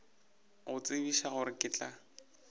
go tsebiša gore ke tla